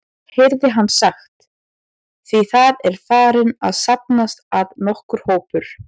heyrði hann sagt, því það var farinn að safnast að nokkur hópur.